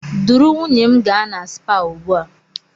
Duru nwunye m gaa na spaa ugbu a!